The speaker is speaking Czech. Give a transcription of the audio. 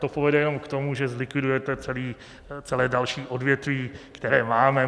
To povede jenom k tomu, že zlikvidujete celé další odvětví, které máme.